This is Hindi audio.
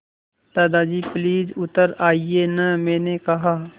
दादाजी प्लीज़ उतर आइये न मैंने कहा